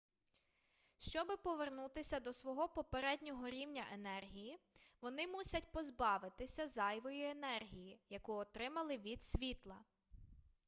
щоби повернутися до свого попереднього рівня енергії вони мусять позбавитися зайвої енергії яку отримали від світла